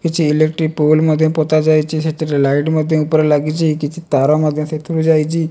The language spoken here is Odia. କିଛି ଏଲେକ୍ଟ୍ରୀକ୍ ପୋଲ୍ ମଧ୍ୟ ପୋତାଯାଇଛି। ସେଥିରେଲାଇଟ ମଧ୍ୟ ଉପରେ ଲାଗିଛି। କିଛି ତାର ମଧ୍ୟ ସେଥିରୁ ଯାଇଛି।